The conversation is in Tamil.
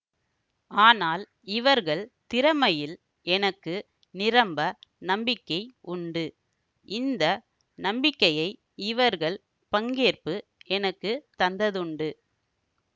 ஆனால் இவர்கள் திறமையில் எனக்கு நிரம்ப நம்பிக்கை உண்டு இந்த நம்பிக்கையை இவர்கள் பங்கேற்பு எனக்கு தந்ததுண்டு